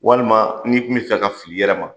Walima n'i tun be fɛ ka fil'i yɛrɛ ma